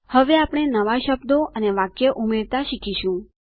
હવે આપણે નવા શબ્દો અને વાક્યો ઉમેરતા શીખીશું